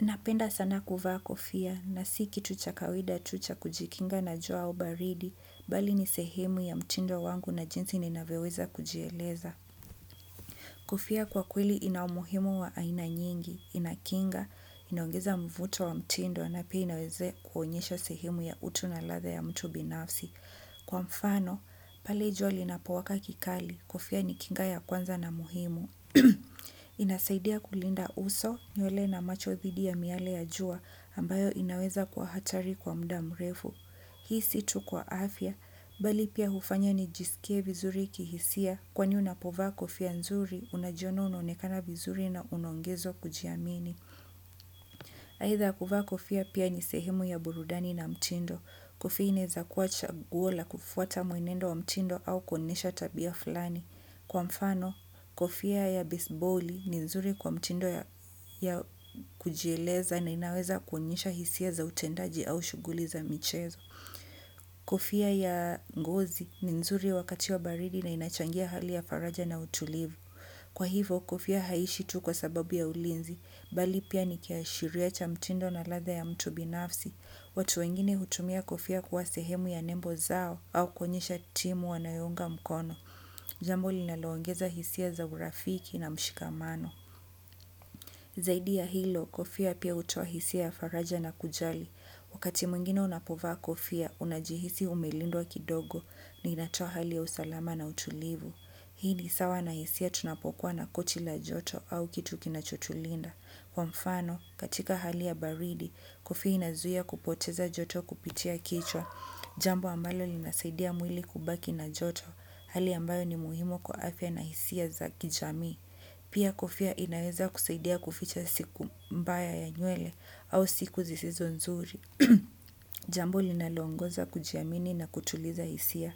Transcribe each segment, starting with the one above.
Napenda sana kuvaa kofia, na si kitu cha kawida tu cha kujikinga na jua au baridi, bali ni sehemu ya mtindo wangu na jinsi ninavyo weza kujieleza. Kofia kwa kweli inau muhimu wa aina nyingi, inakinga, inaogeza mvuto wa mtindo, na pia inaweza kuonyesha sehemu ya utu na latha ya mtu binafsi. Kwa mfano, pale jua linapowaka kikali, kofia ni kinga ya kwanza na muhimu. Inasaidia kulinda uso nywele na macho thidi ya miale ya jua ambayo inaweza kuwa hatari kwa muda mrefu. Hii si tu kwa afya bali pia hufanya nijisikie vizuri kihisia kwani unapovaa kofia nzuri unajiona unaonekana vizuri na unaongeza kujiamini aitha kuvaa kofia pia ni sehemu ya burudani na mtindo. Kofia inaeza kuwa chaguo la kufuata muenendo wa mtindo au kuonesha tabia fulani. Kwa mfano kofia ya bisboli ni nzuri kwa mtindo ya ya kujieleza na inaweza kuonyesha hisia za utendaji au shughuli za michezo. Kofia ya ngozi ni nzuri wakati wa baridi na inachangia hali ya faraja na utulivu. Kwa hivo, kofia haishi tu kwa sababu ya ulinzi, bali pia nikiashiria cha mtindo na ladha ya mtu binafsi. Watu wengine hutumia kofia kuwa sehemu ya nembo zao au kuonyesha timu wanayo unga mkono. Jambo linalo ongeza hisia za urafiki na mshikamano. Zaidi ya hilo, kofia pia hutoa hisia faraja na kujali. Wakati mwingine unapovaa kofia, unajihisi umelindwa kidogo ni inatoa hali ya usalama na utulivu. Hii ni sawa na hisia tunapokuwa na kochi la joto au kitu kinacho tulinda. Kwa mfano, katika hali ya baridi, kofia inazuia kupoteza joto kupitia kichwa. Jambo ambalo linasaidia mwili kubaki na joto, hali ambayo ni muhimu kwa afia na hisia za kijamii. Pia kofia inaweza kusaidia kuficha siku mbaya ya nywele au siku zisizo nzuri. Jambo linalo ongoza kujiamini na kutuliza hisia.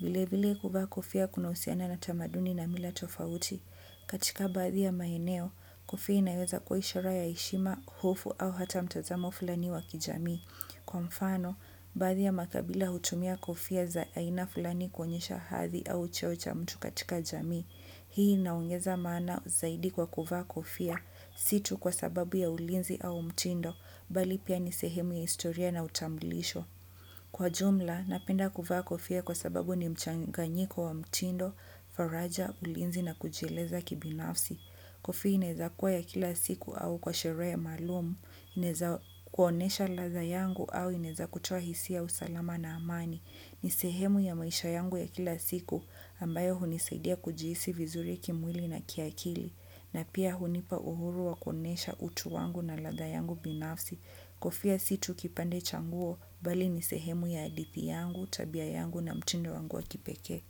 Vile vile kufa kofia kunahusiana na tamaduni na mila tofauti. Katika baadhi ya maeneo, kofia inaweza ishara ya heshima, hofu au hata mtazamo fulani wakijamii. Kwa mfano, baadhi ya makabila hutumia kofia za aina fulani kuonyesha hadhi au cheo cha mtu katika jamii. Hii inaongeza maana zaidi kwa kuvaa kofia si tu kwa sababu ya ulinzi au mtindo bali pia ni sehemu ya historia na utambilisho. Kwa jumla, napenda kuvaa kofia kwasababu ni mchanganyiko wa mtindo, faraja, ulinzi na kujieleza kibinafsi. Kofia inaeza kua ya kila siku au kwa sherehe maalumu, inaeza kuonesha ladha yangu au inaeza kutoa hisia usalama na amani. Ni sehemu ya maisha yangu ya kila siku ambayo hunisaidia kujihisi vizuri kimwili na kiakili na pia hunipa uhuru wa kuonesha utu wangu na ladha yangu binafsi kofia si tu kipande cha nguo bali ni sehemu ya hadithi yangu, tabia yangu na mtindo wangu wa kipekee.